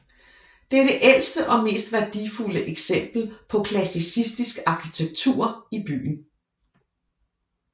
Det er det ældste og mest værdifulde eksempel på klassisistisk arkitektur i byen